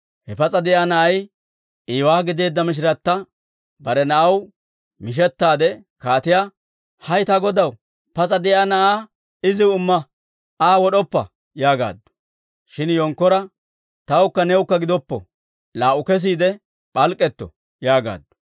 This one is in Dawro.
Ha pas'a de'iyaa na'ay iiwaa gideedda mishiratta bare na'aw mishettaade kaatiyaa, «hay ta godaw, pas'a de'iyaa na'aa iziw imma! Aa wod'oppa!» yaagaaddu. Shin yenkkora, «Tawukka newukka gidoppo; laa"u kesiide p'alk'k'etto» yaagaaddu.